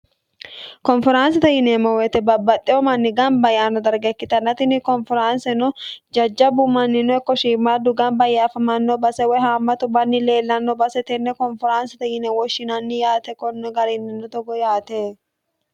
konferaansite yineemmo woyite babbaxxeyo manni gamba yaanno darge ikkitanna tinni konferaansino jajjabu mannino iko shiimmaadu gamba yee affamanno base woy haammatu manni leellanno base tenne konferaansite yine woshshinanni yaate konno garinninno togo yaate